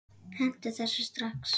Hentu þessu strax!